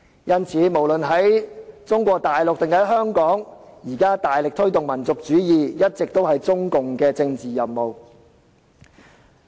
因此，在中國大陸或香港大力推動民族主義，一直以來都是中共的政治任務。